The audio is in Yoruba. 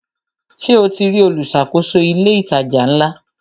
Ṣe o ti rí olùṣàkóso ilé ìtajà ńlá?